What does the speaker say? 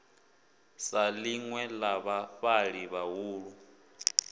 sa ḽinwe ḽa vhafhaṱi vhahulu